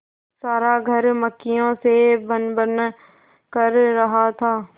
सारा घर मक्खियों से भनभन कर रहा था